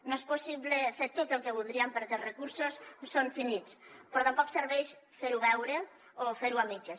no és possible fer tot el que voldríem perquè els recursos són finits però tampoc serveix fer ho veure o fer ho a mitges